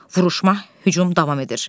Vuruşma, hücum davam edir.